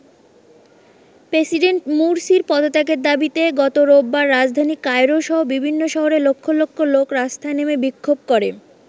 President মুরসির পদত্যাগের দাবিতে গত রোববার রাজধানী কায়রোসহ বিভিন্ন শহরে লক্ষ লক্ষ লোক রাস্তায় নেমে বিক্ষোভ করে।